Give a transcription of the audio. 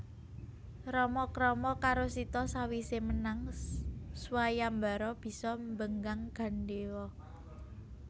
Rama krama karo Sita sawisé menang swayambara bisa mbenggang gandéwa